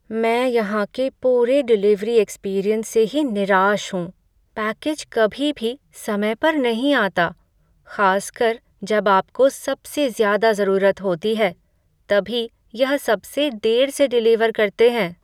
मैं यहाँ के पूरे डिलीवरी एक्सपीरियंस से ही निराश हूँ, पैकेज कभी भी समय पर नहीं आता, खासकर जब आपको सबसे ज़्यादा ज़रूरत होती है, तभी यह सबसे देर से डिलीवर करते हैं।